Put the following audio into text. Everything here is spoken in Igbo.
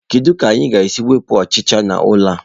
Kedu ka anyị ga-esi wepụ ọchịcha n'ụlọ a?